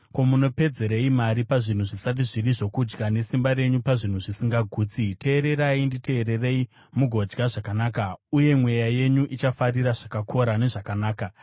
Ko, munopedzerei mari pazvinhu zvisati zviri zvokudya, nesimba renyu pazvinhu zvisingagutsi? Teererai, nditeererei mugodya zvakanaka, uye mweya yenyu ichafarira zvakakora zvezvakanaka.